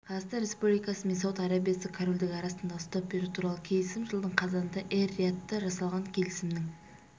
қазақстан республикасы мен сауд арабиясы корольдігі арасындағы ұстап беру туралы келісім жылдың қазанында эр-риядта жасалған келісімнің